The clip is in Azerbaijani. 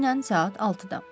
Təxminən saat 6-da.